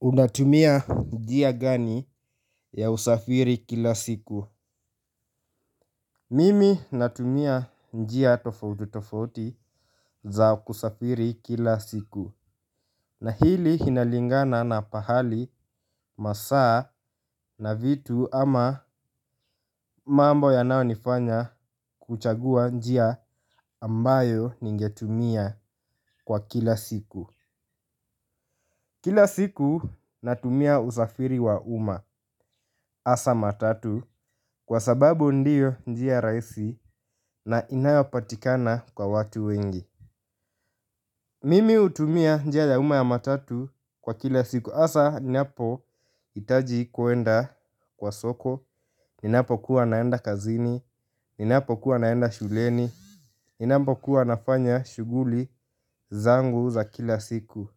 Unatumia njia gani ya usafiri kila siku? Mimi natumia njia tofauti tofauti za kusafiri kila siku na hili inalingana na pahali, masaa na vitu ama mambo yanayo nifanya kuchagua njia ambayo ningetumia kwa kila siku. Kila siku natumia usafiri wa uma hasa matatu kwa sababu ndiyo njia rahisi na inayopatikana kwa watu wengi. Mimi hutumia njia ya uma ya matatu kwa kila siku hasa ninapo hitaji kuenda kwa soko. Ninapo kuwa naenda kazini, ninapo kuwa naenda shuleni, ninapo kuwa nafanya shughuli zangu za kila siku.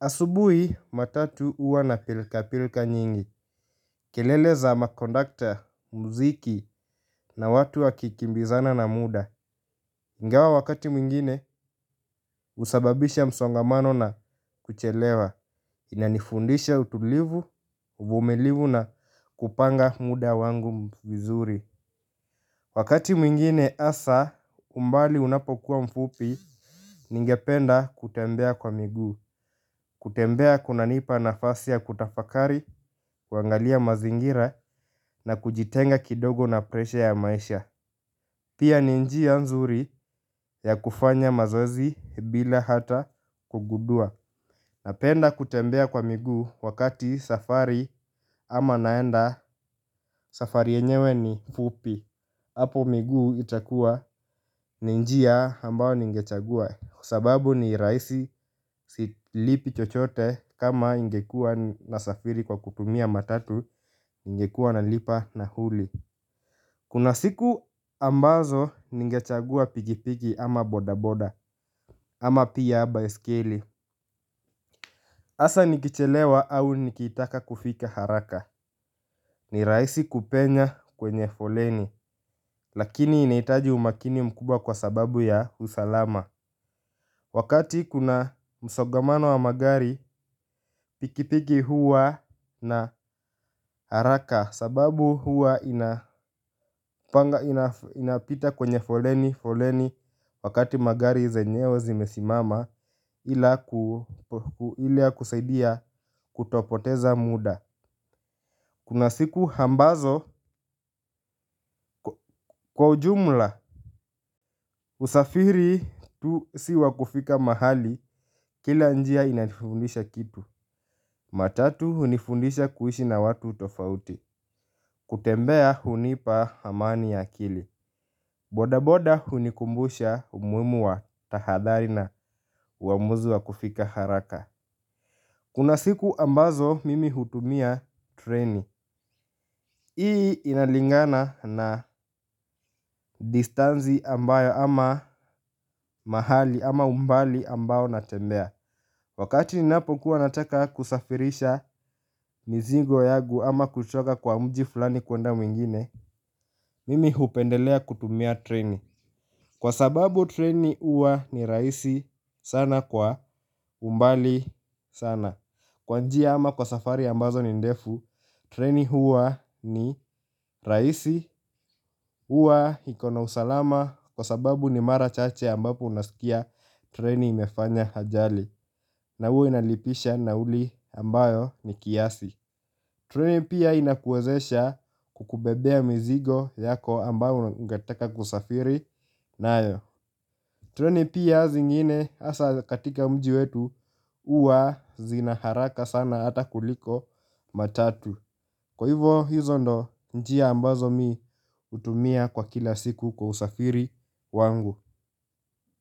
Asubuhi matatu huwa na pilka pilka nyingi. Kelele za makondakta, mziki na watu wakikimbizana na muda. Ingawa wakati mwingine husababisha msongamano na kuchelewa. Inanifundisha utulivu, uvumilivu na kupanga muda wangu mzuri. Wakati mwingine hasa umbali unapokuwa mfupi ningependa kutembea kwa miguu. Kutembea kuna nipa nafasi ya kutafakari, kuangalia mazingira na kujitenga kidogo na presha ya maisha. Pia ni njia nzuri ya kufanya mazoezi bila hata kugundua. Napenda kutembea kwa miguu wakati safari ama naenda safari yenyewe ni mfupi. Hapo miguu itakua ni njia ambayo ningechagua kwa sababu ni rahisi silipi chochote kama ingekua na safiri kwa kutumia matatu ningekuwa nalipa nauli. Kuna siku ambazo ningechagua pikipiki ama bodaboda. Ama pia baiskeli hasa nikichelewa au nikitaka kufika haraka. Ni rahisi kupenya kwenye foleni. Lakini inahitaji umakini mkubwa kwa sababu ya usalama. Wakati kuna msongamano wa magari pikipiki huwa na haraka sababu huwa inapita kwenye foleni. Wakati magari zenyewe zimesimama ila kusaidia kutopoteza muda kuna siku ambazo kwa ujumla usafiri tu si wa kufika mahali kila njia inatufundisha kitu. Matatu hunifundisha kuishi na watu tofauti. Kutembea hunipa amani ya akili. Boda boda hunikumbusha umuhimu wa tahadhari na uamuzi wa kufika haraka. Kuna siku ambazo mimi hutumia treni. Hii inalingana na distansi ambayo ama mahali ama umbali ambao natembea. Wakati ninapo kuwa nataka kusafirisha mzingo yangu ama kutoka kwa mji fulani kuenda mwingine. Mimi hupendelea kutumia treni. Kwa sababu treni huwa ni rahisi sana kwa umbali sana. Kwa njia ama kwa safari ambazo ni ndefu. Treni huwa ni rahisi huwa iko na usalama kwa sababu ni mara chache ambapo unasikia treni imefanya ajali. Na huwe inalipisha nauli ambayo ni kiasi. Treni pia inakuwezesha kukubebea mizigo yako ambayo ungetaka kusafiri. Nayo, treni pia zingine hasa katika mji wetu huwa zina haraka sana hata kuliko matatu. Kwa hivo hizo ndo njia ambazo mi hutumia kwa kila siku kwa usafiri wangu.